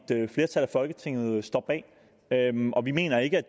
folketinget står bag vi mener ikke at